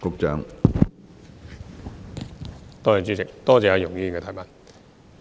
主席，多謝容議員的補充質詢。